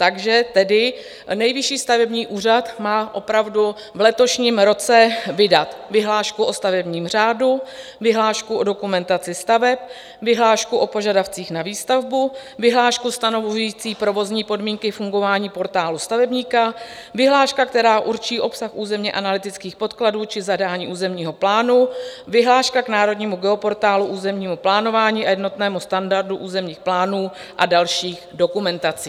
Takže tedy Nejvyšší stavební úřad má opravdu v letošním roce vydat vyhlášku o stavebním řádu, vyhlášku o dokumentaci staveb, vyhlášku o požadavcích na výstavbu, vyhlášku stanovující provozní podmínky fungování Portálu stavebníka, vyhlášku, která určí obsah územně-analytických podkladů či zadání územního plánu, vyhlášku k Národnímu geoportálu územního plánování a jednotnému standardu územních plánů a dalších dokumentací.